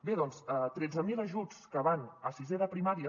bé doncs tret·ze mil ajuts que van a sisè de primària